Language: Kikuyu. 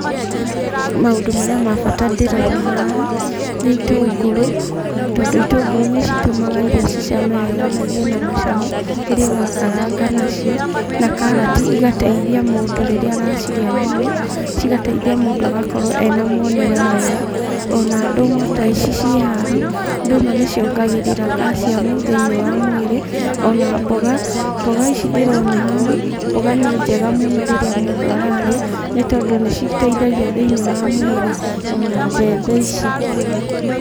Maũndũ marĩa mabata ndĩrona haha, nĩ itũngũrũ tondũ itũngũrũ nĩ citũmaga irio cicame wega na igĩe na mũcamo rĩrĩa ũrakaranga nacio, na karati igateithia mũndũ rĩrĩa aracirĩa mũno, cigateithia mũndũ agakorwo ena mwonere mwega, ona ndũma ta ici ciĩ haha, ndũma nĩ ciongagĩrĩra calcium thĩiniĩ wa mwĩrĩ, ona mboga, mboga ici ndĩrona haha, mboga nĩ njega mũno rĩrĩa mũndũ ararĩa, nĩ tondũ nĩ citeithagia thĩiniĩ wa mwĩrĩ ona mbembe ici.